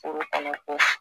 Furu kɔnɔko